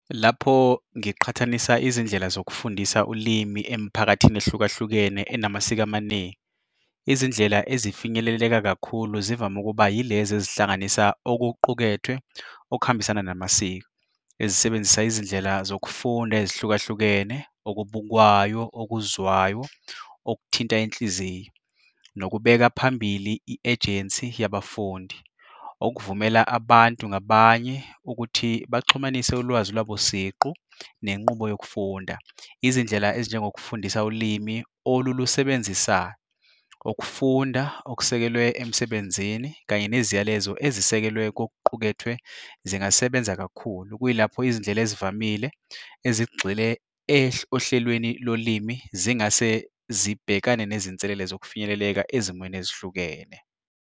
Lapho ngiqhathanisa izindlela zokufundisa ulimi emiphakathini ehlukahlukene enamasiko amaningi, izindlela ezifinyeleleka kakhulu zivame ukuba yilezi ezihlanganisa okuqukethwe okuhambisana namasiko, ezisebenzisa izindlela zokufunda ezihlukahlukene, okubukwayo, okuzwayo, okuthinta inhliziyo, nokubeka phambili i-ejensi yabafundi. Okuvumela abantu ngabanye ukuthi baxhumanisane ulwazi lwabo siqu nenqubo yokufunda, izindlela ezinjengokufundisa ulimi olulusebenzisayo, ukufunda okusekelwe emsebenzini kanye neziyalezo ezisekelwe kokuqukethwe zingasebenza kakhulu, okuyilapho izindlela ezivamile ezigxile ohlelweni lolimi zingase zibhekane nezinselele zokufinyeleleka ezimweni ezihlukene.